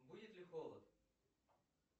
будет ли холод